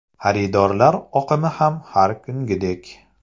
Xaridorlar oqimi ham har kungidek.